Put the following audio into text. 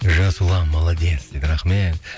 жасұлан молодец дейді рахмет